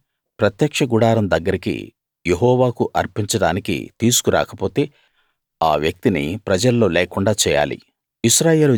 దాన్ని ప్రత్యక్ష గుడారం దగ్గరికి యెహోవాకు అర్పించడానికి తీసుకు రాకపోతే ఆ వ్యక్తిని ప్రజల్లో లేకుండా చేయాలి